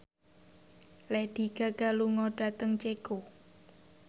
Lady Gaga lunga dhateng Ceko